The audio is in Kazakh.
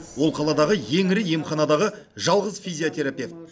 ол қаладағы ең ірі емханадағы жалғыз физиотерапевт